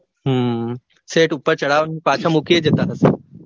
હમ છેક ઉપર ચઢાવીને પાછા મૂકી ય જતા હશે